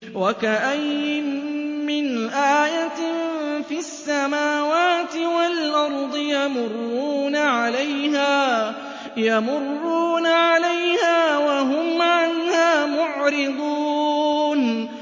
وَكَأَيِّن مِّنْ آيَةٍ فِي السَّمَاوَاتِ وَالْأَرْضِ يَمُرُّونَ عَلَيْهَا وَهُمْ عَنْهَا مُعْرِضُونَ